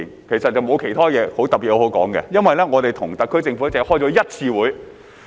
其實並沒有其他特別的東西可說，因為我們與特區政府只開過一次會議。